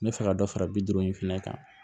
N bɛ fɛ ka dɔ fara bi duuru in fɛnɛ kan